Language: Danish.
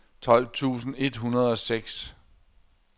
tolv tusind et hundrede og seks